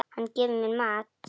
Hann gefur mér mat.